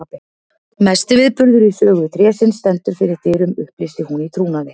Mesti viðburður í sögu trésins stendur fyrir dyrum upplýsti hún í trúnaði.